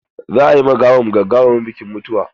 Za a yi ma gawan gagarumin bikin mutuwa.